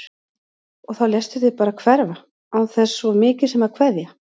Og þá léstu þig bara hverfa án þess svo mikið sem að kveðja!